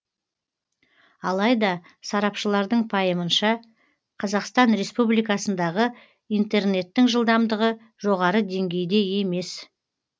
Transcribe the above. алайда сарапшылардың пайымынша қазақстан республикасындағы интернеттің жылдамдығы жоғары деңгейде емес